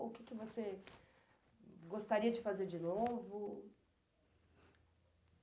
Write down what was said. O que você gostaria de fazer de novo?